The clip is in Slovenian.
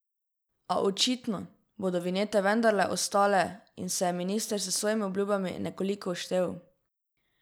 A, očitno, bodo vinjete vendarle ostale in se je minister s svojimi obljubami nekoliko uštel.